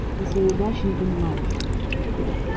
ты своей удачи не понимаешь